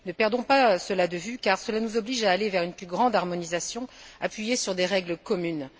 Ne perdons pas cela de vue, car cela nous oblige à aller vers une plus grande harmonisation, appuyée sur des règles communes.